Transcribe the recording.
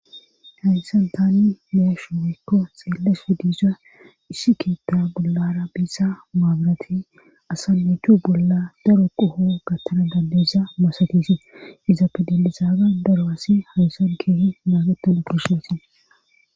hayssan tani meeshu mikko xeelle spe disa ishi kiitta bollara biisa maabarati asamuthu bolla daro qoho gattana dandeza masatisi iza pedilizaaga daro asi hayssan keehi maagetan akeshasi